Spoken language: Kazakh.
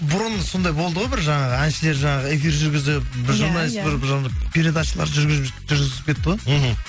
бұрын сондай болды ғой бір жаңағы әншілер жаңағы эфир жүргізіп бір журналист бір передачалар жүргізіп кетті ғой мхм